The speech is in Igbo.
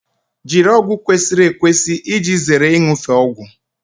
Jiri ọgwụ kwesịrị ekwesị iji zere iṅufe ọgwụ